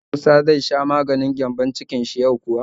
Shin musa zai sha maganin gyambon-cikin shi yau kuwa?